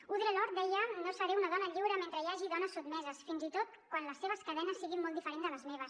audre lorde deia no seré una dona lliure mentre hi hagi dones sotmeses fins i tot quan les seves cadenes siguin molt diferents de les meves